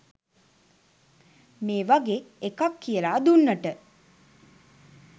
මේ වගේ එකක් කියලා දුන්නට.